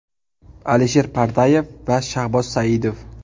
Alisher Pardayev va Shahboz Saidov.